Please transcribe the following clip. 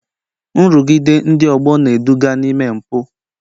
Nrụgide ndị ọgbọ na-eduga n'ime mpụ